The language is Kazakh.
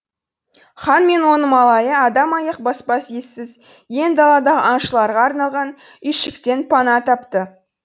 хан мен оның малайы адам аяқ баспас ессіз ен далада аңшыларға арналған үйшіктен пана тапты